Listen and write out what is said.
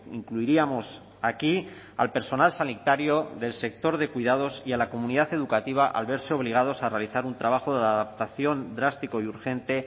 incluiríamos aquí al personal sanitario del sector de cuidados y a la comunidad educativa al verse obligados a realizar un trabajo de adaptación drástico y urgente